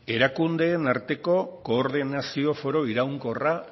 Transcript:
erakundeen arteko koordinazio foro iraunkorra